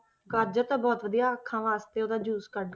ਗਾਜ਼ਰ ਤਾਂ ਬਹੁਤ ਵਧੀਆ ਅੱਖਾਂ ਵਾਸਤੇ ਉਹਦਾ juice ਕੱਢ,